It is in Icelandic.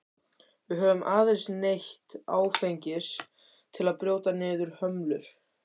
Við höfum aðeins neytt áfengis til að brjóta niður hömlur.